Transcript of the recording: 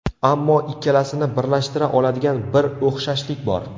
Ammo ikkalasini birlashtira oladigan bir o‘xshashlik bor.